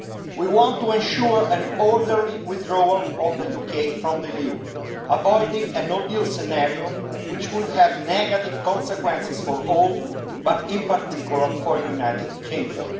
We want to ensure an orderly withdrawal of the UK from the EU, avoiding a no-deal scenario, which would have negative consequences for all, but in particular for the United Kingdom.